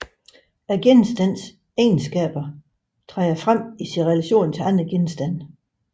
Genstandens egenskaber træder frem i sin relation til andre genstande